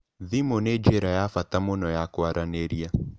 Thimu nĩ njĩra ya bata mũno ya kwaranĩria.